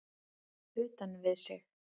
Utan við sig?